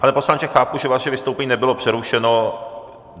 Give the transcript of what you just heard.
Pane poslanče, chápu, že vaše vystoupení nebylo přerušeno.